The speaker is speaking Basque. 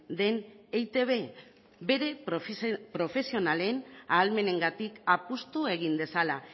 den eitb bere profesionalen ahalmenengatik apustu egin dezala